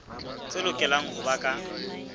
tse lokelang ho ba ka